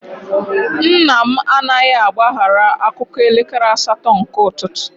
Nna m anaghị agbaghara akụkọ elekere asatọ nke ụtụtụ.